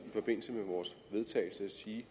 vedtagelse at sige